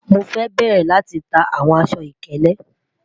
Mo fẹ bẹrẹ tita awọn aṣọ-ikele